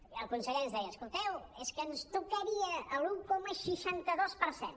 i el conseller ens deia escol·teu és que ens tocaria l’un coma seixanta dos per cent